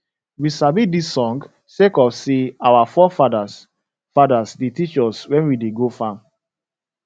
we sabi dis song sake of say our fore fadas fadas da teach us wen we go farm